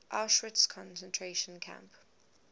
auschwitz concentration camp